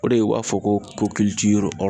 O de ye u b'a fɔ ko